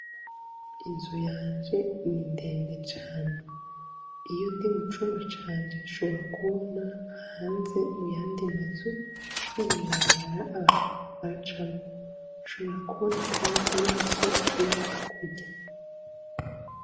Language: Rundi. Inzu yanje ni ndende cane, iyo ndi mucumba canje nshobora kubona ayandi mazu no mw'ibarabara abantu bariko baracamwo, nshobora kubona kandi imisozi iri hakurya.